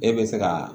E bɛ se ka